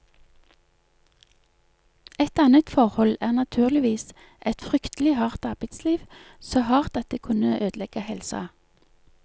Et annet forhold er naturligvis et fryktelig hardt arbeidsliv, så hardt at det kunne ødelegge helsa.